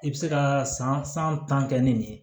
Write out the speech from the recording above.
I bɛ se ka san tan kɛ ni nin ye